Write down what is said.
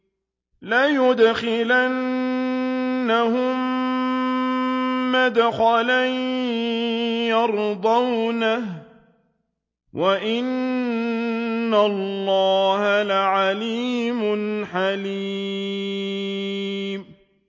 لَيُدْخِلَنَّهُم مُّدْخَلًا يَرْضَوْنَهُ ۗ وَإِنَّ اللَّهَ لَعَلِيمٌ حَلِيمٌ